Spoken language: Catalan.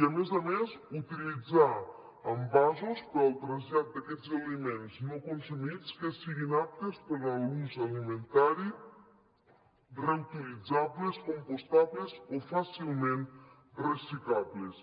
i a més a més utilitzar envasos per al trasllat d’aquests aliments no consumits que siguin aptes per a l’ús alimentari reutilitzables compostables o fàcilment reciclables